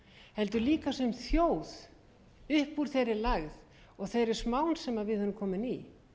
heldur líka sem þjóð upp úr þeirri lægð og þeirri smán sem við erum komin í